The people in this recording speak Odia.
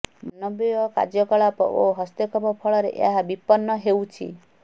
ମାନବୀୟ କାର୍ଯ୍ୟକଳାପ ଓ ହସ୍ତକ୍ଷେପ ଫଳରେ ଏହା ବିପନ୍ନ ହେଉଛି